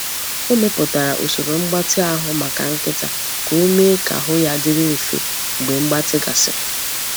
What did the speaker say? Ọ mepụtara usoro mgbatị ahụ maka nkịta ka o mee ka ahụ ya dịrị mfe mgbe mgbatị gasịrị.